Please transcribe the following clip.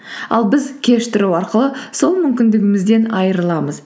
ал біз кеш тұру арқылы сол мүмкіндігімізден айрыламыз